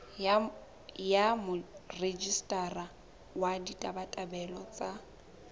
ya morejistara wa ditabatabelo tsa